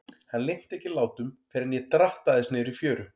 Hann linnti ekki látum fyrr en ég drattaðist niður í fjöru.